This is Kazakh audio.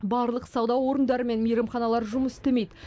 барлық сауда орындары мен мейрамханалар жұмыс істемейді